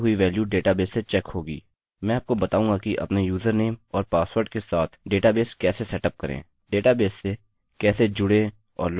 मैं आपको बताऊँगा कि अपने यूजरनेम और पासवर्ड के साथ डेटाबेस कैसे सेटअप करें डेटबेस से कैसे जुड़ें और लॉगआउट फंक्शन की प्रक्रिया कैसे करें